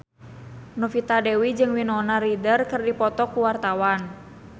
Novita Dewi jeung Winona Ryder keur dipoto ku wartawan